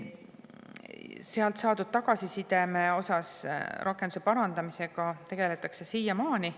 Sealt saadud tagasiside põhjal rakenduse parandamisega tegeldakse siiamaani.